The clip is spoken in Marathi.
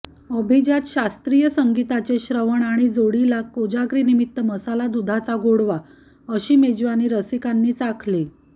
अभिजात शास्त्रीय संगीताचे श्रवण आणि जोडीला कोजागिरीनिमित्त मसाला दुधाचा गोडवा अशी मेजवानी रसिकांनी चाखली